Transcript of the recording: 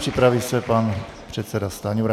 Připraví se pan předseda Stanjura.